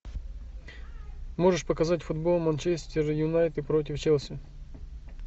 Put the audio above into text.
можешь показать футбол манчестер юнайтед против челси